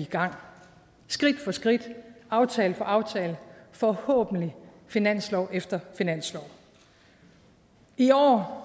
i gang skridt for skridt aftale for aftale forhåbentlig finanslov efter finanslov i år